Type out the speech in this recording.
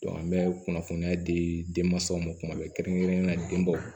an bɛ kunnafoniya di denmansaw ma tuma bɛɛ kɛrɛnkɛrɛnnenya den bɔ